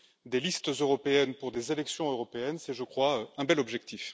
Des listes européennes pour des élections européennes, c'est, je crois, un bel objectif.